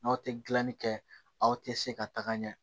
N'aw tɛ gilanni kɛ aw tɛ se ka taga ɲɛ